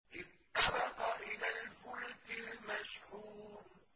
إِذْ أَبَقَ إِلَى الْفُلْكِ الْمَشْحُونِ